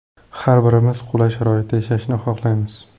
Har birimiz qulay sharoitda yashashni xohlaymiz.